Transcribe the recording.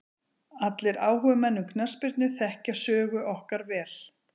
Allir áhugamenn um knattspyrnu þekkja sögu okkar vel.